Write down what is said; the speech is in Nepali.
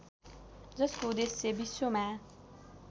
जसको उद्देश्य विश्वमा